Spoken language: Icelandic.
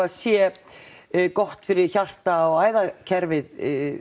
það sé gott fyrir hjarta og æðakerfið